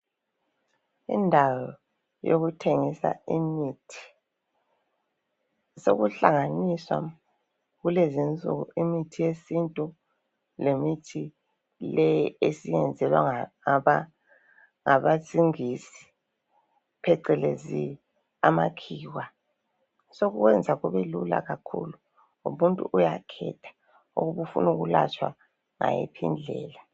Indawo yokuthengisa imithi, yokuhlanganisa. Kulezinsuku imithi yesintu lemithi le esiyenzelwa ngabasingisi phecelezi amakhiwa. Sokwenza kubelula kakhulu umuntu uyakhetha ukufuna ukwelatshwa ngayiphi indlela.